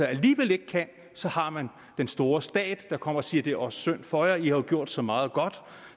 alligevel ikke kan har man den store stat der kommer og siger det er også synd for jer i har jo gjort så meget godt